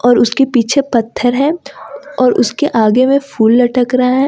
और उसके पीछे पत्थर है और उसके आगे में फूल लटक रहा है।